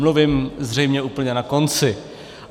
Mluvím zřejmě úplně na konci.